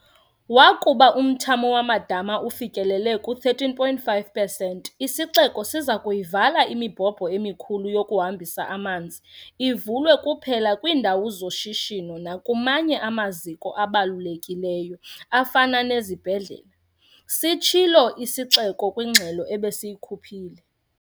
"Wakuba umthamo wamadama ufikelele ku-13.5 pesenti, isixeko siza kuyivala imibhobho emikhulu yokuhambisa amanzi, ivulwe kuphela kwiindawo z-shishino nakumanye amaziko abalulekileyo afana nezibhedlela," sitshilo isixeko kwingxelo ebesiyikhuphile.